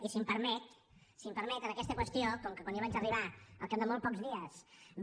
i si m’ho permet en aquesta qüestió com que quan jo vaig arribar al cap de molt pocs dies va